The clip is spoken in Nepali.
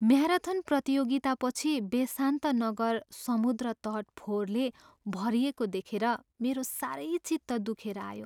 म्याराथन प्रतियोगितापछि बेसान्त नगर समुद्र तट फोहोरले भरिएको देखेर मेरो साह्रै चित्त दुखेर आयो।